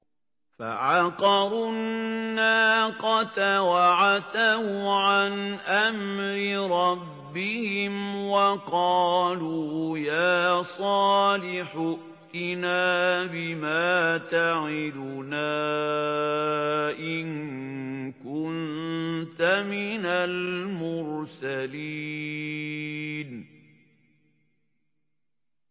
فَعَقَرُوا النَّاقَةَ وَعَتَوْا عَنْ أَمْرِ رَبِّهِمْ وَقَالُوا يَا صَالِحُ ائْتِنَا بِمَا تَعِدُنَا إِن كُنتَ مِنَ الْمُرْسَلِينَ